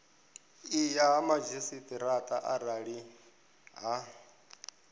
ya ha madzhisiṱaraṱa arali ha